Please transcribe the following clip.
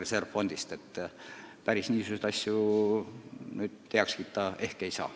Päris heaks niisuguseid asju kiita ei saa.